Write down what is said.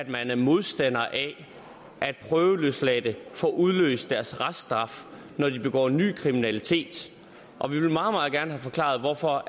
man er modstander af at prøveløsladte får udløst deres reststraf når de begår ny kriminalitet og vi vil meget meget gerne have forklaret hvorfor